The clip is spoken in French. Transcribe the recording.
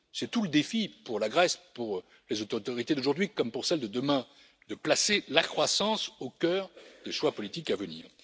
C'est tout le défi pour la Grèce, pour les autorités d'aujourd'hui comme pour celles de demain, de placer la croissance au cœur des choix politiques à venir.